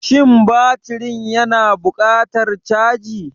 Shin batirin yana buƙatar caji?